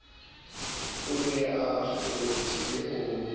o ne o kgethwe ho